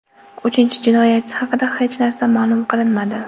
Uchinchi jinoyatchi haqida hech narsa ma’lum qilinmadi.